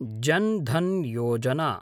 जन् धन् योजना